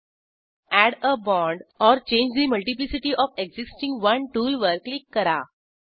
add a bond or change the multiplicity of existing one टूलवर click करा